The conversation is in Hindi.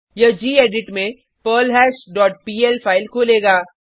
यह गेडिट में पर्लहैश डॉट पीएल फाइल खोलेगा